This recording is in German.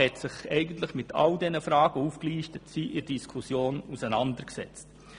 Die BaK hat sich mit all den aufgelisteten Fragen in der Diskussion auseinandergesetzt.